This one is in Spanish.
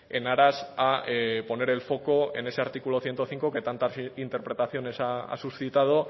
en aras a poner el foco en ese artículo ciento cinco que tantas interpretaciones ha suscitado